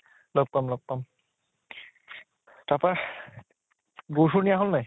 লগ পাম লগ পাম, তাৰপা নিয়া হʼল নে নাই?